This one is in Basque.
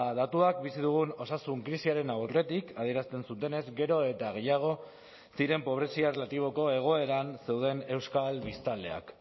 datuak bizi dugun osasun krisiaren aurretik adierazten zutenez gero eta gehiago ziren pobrezia erlatiboko egoeran zeuden euskal biztanleak